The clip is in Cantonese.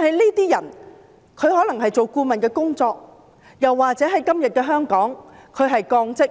這些人可能從事顧問工作，但在現今的香港，他會被降職，